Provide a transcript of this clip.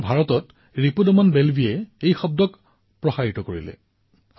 কিন্তু ভাৰতত ৰিপুদমন বেল্বীজীয়ে ইয়াৰ প্ৰচাৰ কৰিছে